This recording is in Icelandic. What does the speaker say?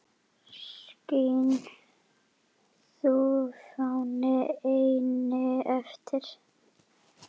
Skín þú, fáni, eynni yfir